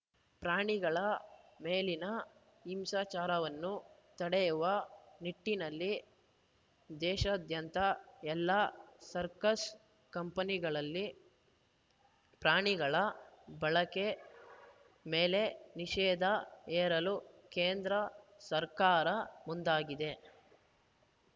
ಪ್ರಾಣಿಗಳ ಮೇಲಿನ ಹಿಂಸಾಚಾರವನ್ನು ತಡೆಯುವ ನಿಟ್ಟಿನಲ್ಲಿ ದೇಶಾದ್ಯಂತ ಎಲ್ಲ ಸರ್ಕಸ್‌ ಕಂಪನಿಗಳಲ್ಲಿ ಪ್ರಾಣಿಗಳ ಬಳಕೆ ಮೇಲೆ ನಿಷೇಧ ಹೇರಲು ಕೇಂದ್ರ ಸರ್ಕಾರ ಮುಂದಾಗಿದೆ